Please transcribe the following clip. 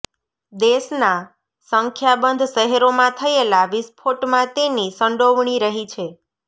દેશનાં સંખ્યાબંધ શહેરોમાં થયેલા વિસ્ફોટમાં તેની સંડોવણી રહી છે